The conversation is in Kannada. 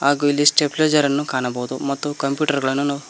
ಹಾಗೂ ಇಲ್ಲಿ ಸ್ಟೆಪ್ಲೇಜರ್ ಅನ್ನು ಕಾಣಬಹುದು ಮತ್ತು ಕಂಪ್ಯೂಟರ್ ಗಳನ್ನು ನಾವು--